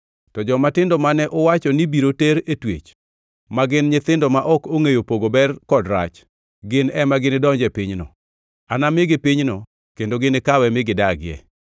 To jomatindo mane uwacho ni biro ter e twech, ma gin nyithindo ma ok ongʼeyo pogo ber kod rach, gin ema ginidonji e pinyno. Anamigi pinyno kendo ginikawe mi gidagie.